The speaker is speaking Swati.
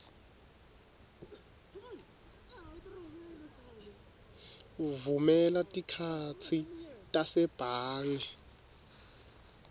vumela tikhatsi tasebhange